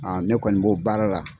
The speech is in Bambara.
ne kɔni b'o baara la.